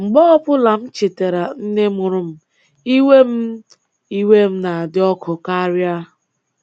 Mgbe ọbụla m chetara nne mụrụ m, iwe m m, iwe m na-adị ọkụ karịa.”